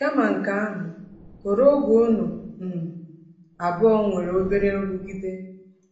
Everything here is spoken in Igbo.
Kama nke ahụ, họrọ oge unu um abụọ nwere obere nrụgide.